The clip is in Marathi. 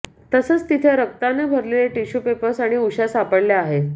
तसंच तिथं रक्तानं भरलेले टिश्यू पेपर्स आणि उश्या सापडल्या आहेत